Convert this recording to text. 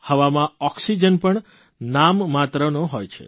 હવામાં ઓક્સિજન પણ નામ માત્રનો હોય છે